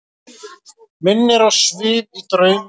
Minnir á svif í draumum.